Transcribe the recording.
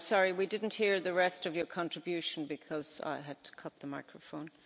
We didn't hear the rest of your contribution because I had to cut the microphone.